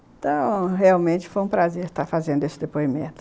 Então, realmente foi um prazer estar fazendo esse depoimento.